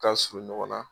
Ka surun ɲɔgɔn na